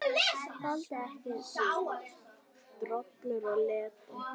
Þoldi ekki droll og leti.